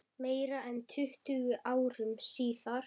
Meira en tuttugu árum síðar.